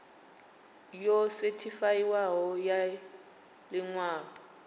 yo sethifaiwaho ya ḽi ṅwalo